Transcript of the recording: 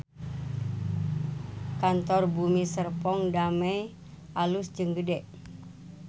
Kantor Bumi Serpong Damai alus jeung gede